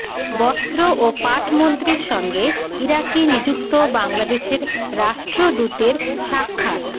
বস্ত্র ও পাট মন্ত্রীর সঙ্গে ইরাকে নিযুক্ত বাংলাদেশের রাষ্ট্রদূতের সাক্ষাৎ